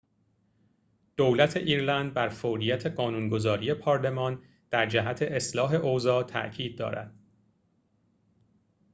دولت ایرلند بر فوریت قانون‌گذاری پارلمان در جهت اصلاح اوضاع تأکید دارد